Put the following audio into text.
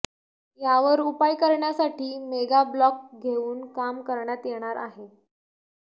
यावर उपाय करण्यासाठी मेगाब्लॉक घेऊन काम करण्यात येणार आहे